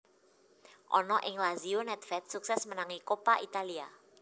Ana ing Lazio nèdvèd suksès menangi Coppa Italia